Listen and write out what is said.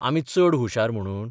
आमी चड हुशार म्हणून?